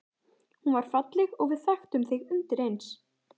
Hún var falleg og við þekktum þig undireins.